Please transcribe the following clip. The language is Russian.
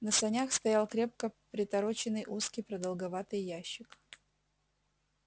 на санях стоял крепко притороченный узкий продолговатый ящик